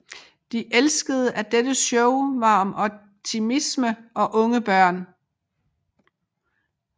De elskede at dette show var om optimisme og unge børn